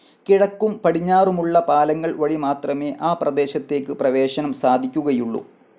കിഴക്കും പടിഞ്ഞാറുമുള്ള പാലങ്ങൾ വഴി മാത്രമേ ആ പ്രദേശത്തേക്ക് പ്രവേശനം സാധിക്കുകയുള്ളു.